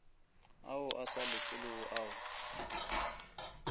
ao a sa lefelwego ao